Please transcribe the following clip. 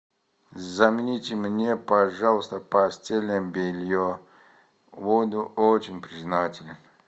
замените мне пожалуйста постельное белье буду очень признателен